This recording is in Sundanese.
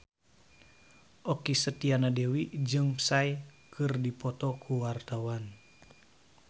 Okky Setiana Dewi jeung Psy keur dipoto ku wartawan